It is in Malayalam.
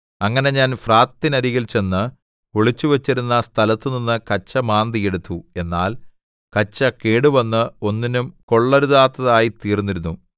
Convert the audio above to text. അങ്ങനെ ഞാൻ ഫ്രാത്തിനരികിൽ ചെന്ന് ഒളിച്ചുവച്ചിരുന്ന സ്ഥലത്തുനിന്ന് കച്ച മാന്തി എടുത്തു എന്നാൽ കച്ച കേടുവന്ന് ഒന്നിനും കൊള്ളരുതാത്തതായിത്തീർന്നിരുന്നു